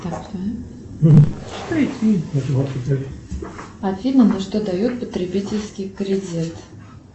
афина на что дают потребительский кредит